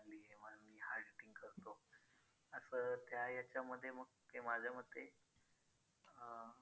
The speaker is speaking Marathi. असं त्या ह्याच्यामध्ये मग ते माझ्या मते अं